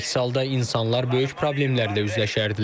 Əks halda insanlar böyük problemlərlə üzləşərdilər.